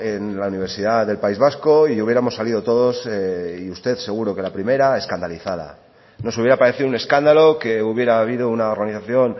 en la universidad del país vasco y hubiéramos salido todos y usted seguro que la primera escandalizada nos hubiera parecido un escándalo que hubiera habido una organización